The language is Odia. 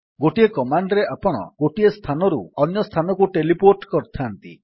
ଗୋଟିଏ କମାଣ୍ଡ୍ ରେ ଆପଣ ଗୋଟିଏ ସ୍ଥାନରୁ ଅନ୍ୟ ସ୍ଥାନକୁ ଟେଲିପୋର୍ଟ୍ କରନ୍ତି